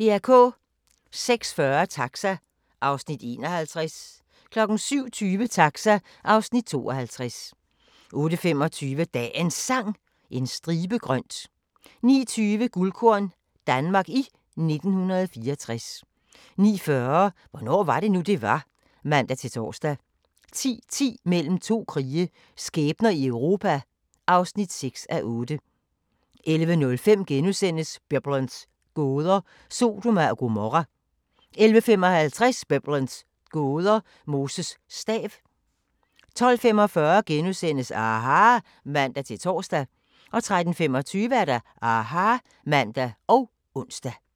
06:40: Taxa (Afs. 51) 07:20: Taxa (Afs. 52) 08:25: Dagens Sang: En stribe grønt 09:20: Guldkorn - Danmark i 1964 09:40: Hvornår var det nu, det var? (man-tor) 10:10: Mellem to krige – skæbner i Europa (6:8) 11:05: Biblens gåder – Sodoma og Gomorra * 11:55: Biblens gåder – Moses stav 12:45: aHA! *(man-tor) 13:25: aHA! (man og ons)